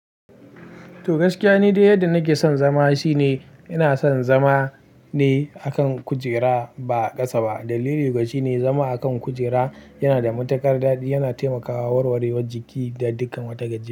To gaskiya ni da yadda nake son zama shine ina son zama ne akan kujera ba ƙasa ba. Dalili gashi ne, zama akan kujera yana da matuƙar daɗi, yana taimakawa warwarewar jiki da dukkan wata gajiya.